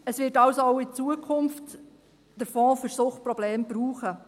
Es wird den Fonds für Suchtprobleme also auch in Zukunft brauchen.